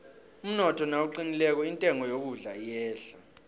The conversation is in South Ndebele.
umnotho nawuqinileko intengo yokudla iyehla